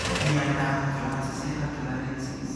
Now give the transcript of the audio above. Miondap francisella tularensis